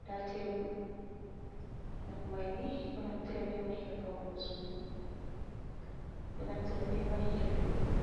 nda tebul, nafu maini ɗo naftira be mai her faunugo suudu, ɗo naftira be man her jooɗugo.